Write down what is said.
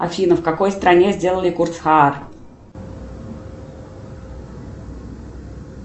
афина в какой стране сделали курс хаар